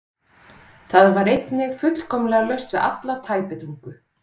Það var einnig fullkomlega laust við alla tæpitungu.